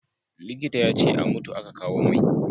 Likita ya ce a mutu a ka kawo mai